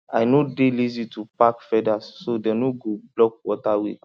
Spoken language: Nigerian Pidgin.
i no dey lazy to pack feathers so dem no go block water way